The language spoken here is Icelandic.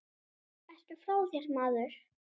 Ertu frá þér, maður?